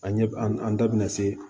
An ɲɛ b an an da bɛna se